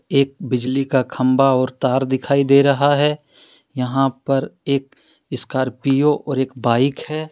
एक बिजली का खंभा और तार दिखाई दे रहा है यहां पर एक स्कॉर्पियो और एक बाइक है।